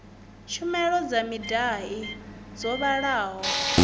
tshumelo dza midia dzo vhalaho